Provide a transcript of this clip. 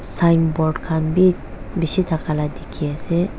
signboard khan bi bishi thaka la dikhiase.